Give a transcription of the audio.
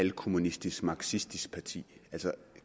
halvkommunistisk marxistisk parti altså